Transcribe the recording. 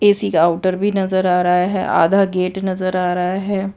किसी का आउटर भी नजर आ रहा है आधा गेट नजर आ रहा है।